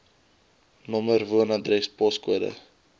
nr woonadres poskode